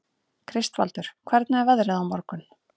Kristvaldur, hvernig er veðrið á morgun?